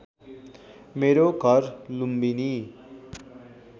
मेरो घर लुम्बिनी